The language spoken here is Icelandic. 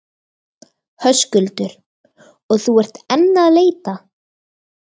Höskuldur: Og þú ert enn að leita?